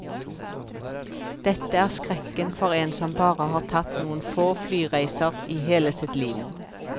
Dette er skrekken for en som bare har tatt noen få flyreiser i hele sitt liv.